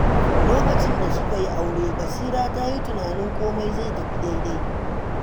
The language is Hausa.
Lokacin da suka yi aure, Basira ta yi tunanin komai zai tafi daidai.